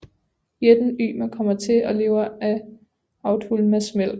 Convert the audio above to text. Jætten Ymer kommer til og lever af Audhumlas mælk